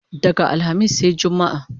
Daga alhamis sai jumma